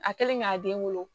A kɛlen k'a den wolo